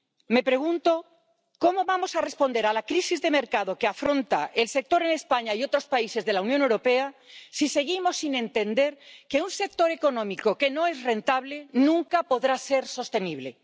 Me pregunto cómo vamos a responder a la crisis de mercado que afronta el sector en España y otros países de la Unión Europea si seguimos sin entender que un sector económico que no es rentable nunca podrá ser sostenible.